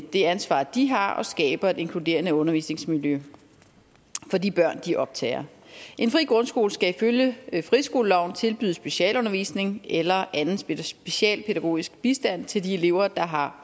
det ansvar de har og skaber et inkluderende undervisningsmiljø for de børn de optager en fri grundskole skal ifølge friskoleloven tilbyde specialundervisning eller anden socialpædagogisk bistand til de elever der har